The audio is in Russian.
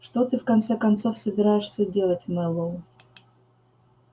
что ты в конце концов собираешься делать мэллоу